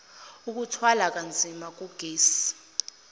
ukuthwala kanzima kogesi